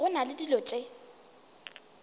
go na le dilo tše